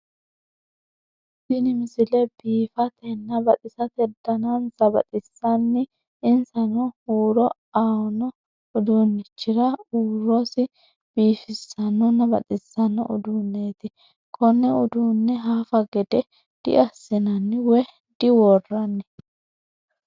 Tini misile biffatenna baxxissate dannasa baxxisaani insaano hurro awonoo uddunnichirra urrosi bifssanonna baxxissanoo udduneti konne uddune haffa gedde diassinnani woy diwooranni